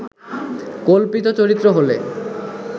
কল্পিত চরিত্র হলে